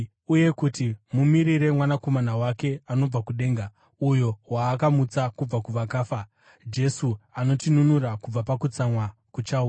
uye kuti mumirire Mwanakomana wake anobva kudenga, uyo waakamutsa kubva kuvakafa, Jesu, anotinunura kubva pakutsamwa kuchauya.